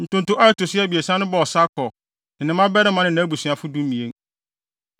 Ntonto a ɛto so abiɛsa no bɔɔ Sakur, ne ne mmabarima ne nʼabusuafo (12)